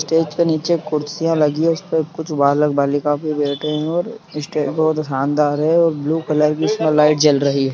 stage के निचे कुर्सियां लगी हैं उसपे कुछ बालक-बालिका बैठे हैं और स्टेज बहुत शानदार है और ब्लू कलर की लाइट जल रही है |